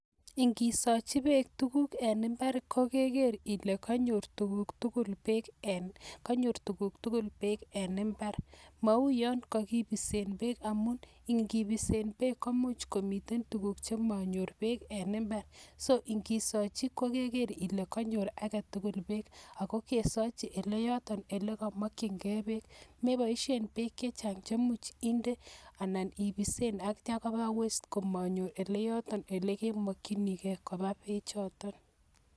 Ingisochi beek tuguk en imbar ko keger ile konyor tuguk tugul beek en imbar, mou yon ko kibisen beek; amun ingibisen beek komuch komiten tuguk che monyor beek en imbar, so ingisochi ko kegeer ile konyor age tugul beek ago kesochi ele yoton ele komokin ge beek, meboishen beek che chang che imuch inde anan ibisen ak kitya koba waste komonyo ele yoton ele kemokinige koba beechoton.